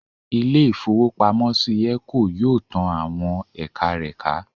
Ilé-ìfowópamọ́sí Eco yóò tán àwọn ẹ̀ka rẹ̀ ká